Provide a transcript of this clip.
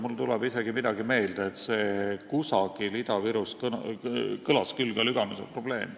Mulle tuleb isegi midagi meelde, kusagil Ida-Virus kõlas küll ka Lüganuse probleem.